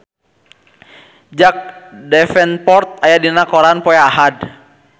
Jack Davenport aya dina koran poe Ahad